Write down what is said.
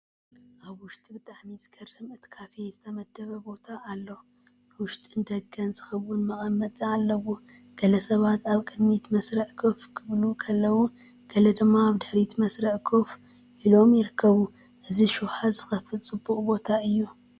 ኣብ ውሽጢ ብጣዕሚ ዝገርም እቲ ካፌ ዝተመደበ ቦታ ኣሎ ንውሽጥን ንደገን ዝኸውን መቐመጢ ኣለዎ። ገለ ሰባት ኣብ ቅድሚት መስርዕ ኮፍ ክብሉ ከለዉ፡ ገለ ድማ ኣብ ድሕሪት መስርዕ ኮፍ ኢሎም ይርከቡ። እዚ ሹሃት ዝኸፍት ፅቡቕ ቦታውን እዩ፡፡